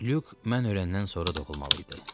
Lük mən öyrənəndən sonra doğulmalı idi.